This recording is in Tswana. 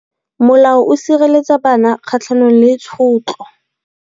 Molao o sireletsa bana kgatlhanong le tshotlo.